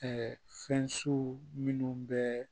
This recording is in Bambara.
fɛn siw minnu bɛ